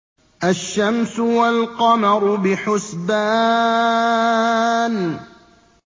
الشَّمْسُ وَالْقَمَرُ بِحُسْبَانٍ